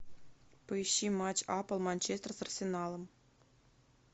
поищи матч апл манчестер с арсеналом